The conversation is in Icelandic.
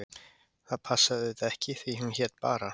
Það passaði auðvitað ekki því hún hét bara